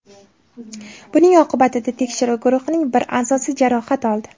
Buning oqibatida tekshiruv guruhining bir a’zosi jarohat oldi.